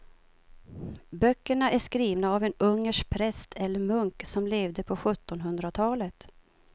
Böckerna är skrivna av en ungersk präst eller munk som levde på sjuttonhundratalet.